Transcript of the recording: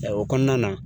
O kɔnɔna na